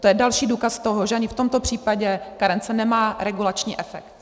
To je další důkaz toho, že ani v tomto případě karence nemá regulační efekt.